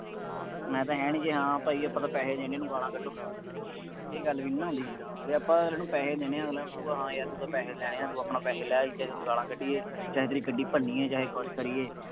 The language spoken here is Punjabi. ਮੈਂ ਤਾਂ ਹੈ ਨਹੀਂ ਸੀ ਹਾਂ ਭਾਈ ਆਪਾਂ ਤਾਂ ਪੈਸੇ ਦੇਣੇ ਉਹਨੂੰ ਗਾਲਾਂ ਕੱਢੋ। ਇਹ ਗੱਲ ਵੀ ਨਾ ਹੁੰਦੀ। ਜੇ ਆਪਾਂ ਅਗਲੇ ਨੂੰ ਪੈਸੇ ਦੇਣੇ ਆ, ਅਗਲਾ ਕਹੂਗਾ ਹਾਂ ਯਾਰ ਤੂੰ ਤਾਂ ਪੈਸੇ ਲੈਣੇ ਆ, ਤੂੰ ਆਪਣਾ ਪੈਸੇ ਲੈ, ਅਸੀਂ ਤੈਨੂੰ ਗਾਲਾਂ ਕੱਢੀਏ, ਚਾਹੇ ਤੇਰੀ ਗੱਡੀ ਭੰਨੀਏ, ਚਾਹੇ ਕੁੱਛ ਕਰੀਏ।